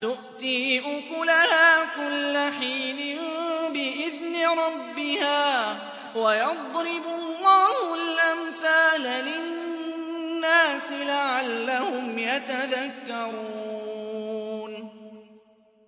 تُؤْتِي أُكُلَهَا كُلَّ حِينٍ بِإِذْنِ رَبِّهَا ۗ وَيَضْرِبُ اللَّهُ الْأَمْثَالَ لِلنَّاسِ لَعَلَّهُمْ يَتَذَكَّرُونَ